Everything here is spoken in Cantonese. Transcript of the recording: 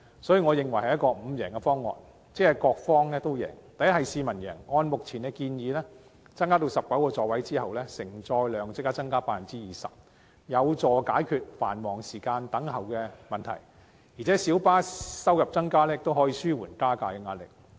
所以，我認為這是一個各方都贏的"五贏方案"：第一，市民贏，按照現時建議增至19個座位後，承載量即時增加 20%， 有助解決繁忙時段的輪候問題，而且小巴收入增加亦可以紓緩加價壓力。